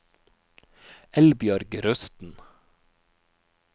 Eldbjørg Rusten